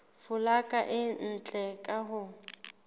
folaga e ntle ka ho